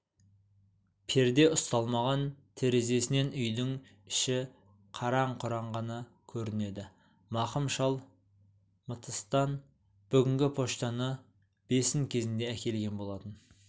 перде ұсталмаған терезесінен үйдің іші қараң-құраң ғана көрінеді мақым шал мтс-тан бүгінгі почтаны бесін кезінде әкелген болатын